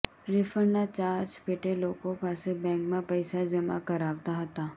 રિફંડના charge પેટે લોકો પાસે બેન્કમાં પૈસા જમા કરાવતા હતા